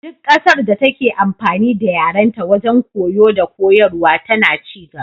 Duk ƙasar da take amfani da yarenta wajen koyo dakoyarwa tana ci gaba.